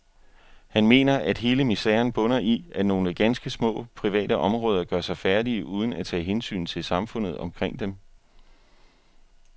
Han mener, at hele miseren bunder i, at nogle ganske små, private områder gør sig færdige uden at tage hensyn til samfundet omkring dem.